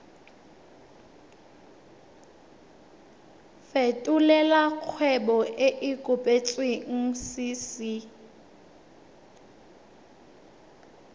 fetolela kgwebo e e kopetswengcc